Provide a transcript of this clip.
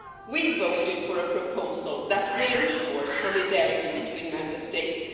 We voted for a proposal that would ensure solidarity between Member States